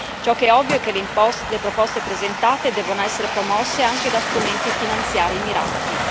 Ciò che è ovvio è che le proposte presentate debbano essere promosse anche da strumenti finanziari mirati.